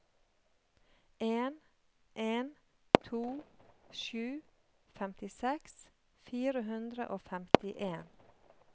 en en to sju femtiseks fire hundre og femtien